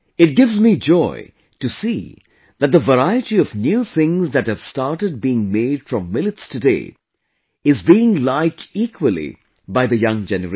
It gives joy to me to see that the variety of new things that have started being made from Millets today is being liked equally by the young generation